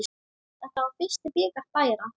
Þetta var fyrsti bikar Bæjara.